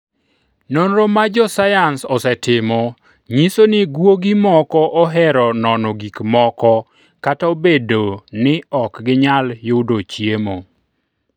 Nonro ma josayans osetimo nyiso ni guogi moko ohero nono gik moko kata obedo ni ok ginyal yudo chiemo.